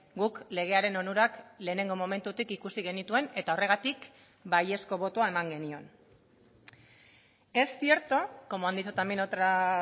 guk legearen onurak lehenengo momentutik ikusi genituen eta horregatik baiezko botoa eman genion es cierto como han dicho también otras